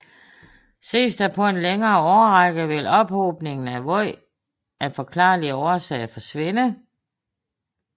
Ses der på en længere årrække vil ophobningen af vand af forklarlige årsager forsvinde